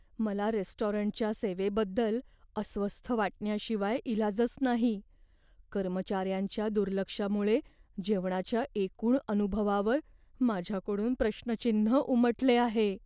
मला रेस्टॉरंटच्या सेवेबद्दल अस्वस्थ वाटण्याशिवाय इलाजच नाही, कर्मचाऱ्यांच्या दुर्लक्षामुळे जेवणाच्या एकूण अनुभवावर माझ्याकडून प्रश्नचिन्ह उमटले आहे.